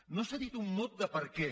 no s’ha dit un mot de per què